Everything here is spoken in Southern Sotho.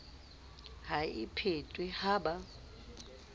ha e phethwe ha ba